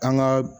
An ka